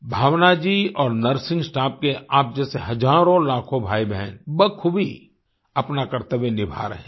भावना जी और nursing staff के आप जैसे हजारोंलाखों भाईबहन बखूबी अपना कर्त्तव्य निभा रहे हैं